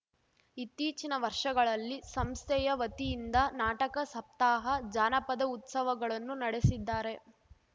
ಇತ್ತೀಚಿನ ವರ್ಷಗಳಲ್ಲಿ ಸಂಸ್ಥೆಯ ವತಿಯಿಂದ ನಾಟಕ ಸಪ್ತಾಹ ಜಾನಪದ ಉತ್ಸವಗಳನ್ನು ನಡೆಸಿದ್ದಾರೆ